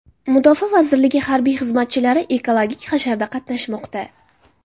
Mudofaa vazirligi harbiy xizmatchilari ekologik hasharda qatnashmoqda.